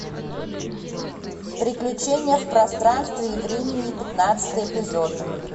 приключения в пространстве и времени пятнадцатый эпизод